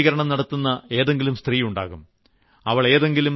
നമ്മുടെ വീട്ടിൽ ശുചീകരണം നടത്തുന്ന ഏതെങ്കിലും സ്ത്രീ ഉണ്ടാവും